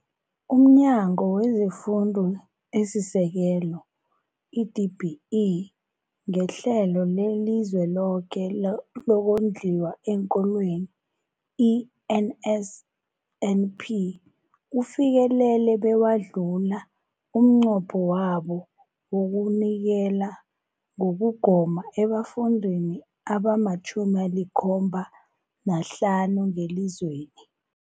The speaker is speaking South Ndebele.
UmNyango wezeFundo esiSekelo, i-DBE, ngeHlelo leliZweloke lokoNdliwa eenKolweni, i-NSNP, ufikelele bewadlula umnqopho wawo wokunikela ngokugoma ebafundini abama-75 ngelizweni.